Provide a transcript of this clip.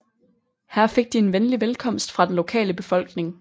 Her fik de en venlig velkomst fra den lokale befolkning